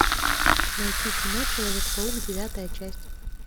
найти кино человек паук девятая часть